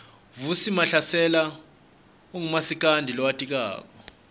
vusi mahlasela ungumasikandi lowatiwako